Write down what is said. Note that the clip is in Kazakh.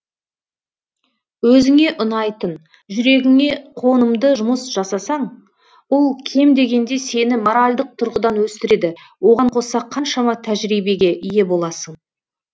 өзіңе ұнайтын жүрегіңе қонымды жұмыс жасасаң ол кем дегенде сені моральдық тұрғыдан өсіреді оған қоса қаншама тәжірибеге ие боласың